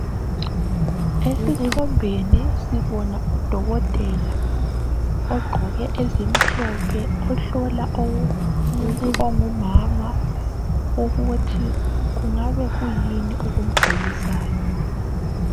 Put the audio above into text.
Esithombeni sibona udokotela ogqoke ezimhlophe ohlola umuntu ongumama ukuthi kungabe kuyini okumgulisayo.